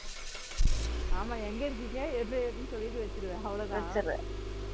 ஆமா, எங்க இருக்கீங்க என்ன ஏதுனு சொல்லிட்டு வச்சிருவ அவ்ளோதான்